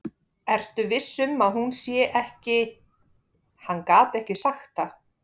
Ertu viss um að hún sé ekki. Hann gat ekki sagt það.